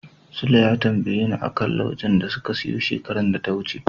Sule ya tambayeni a kan laujen da suka siyo shekarar da ta wuce.